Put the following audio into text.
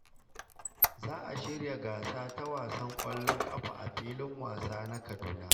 Za a shirya gasa ta wasan kwallon kafa a filin wasa na Kaduna.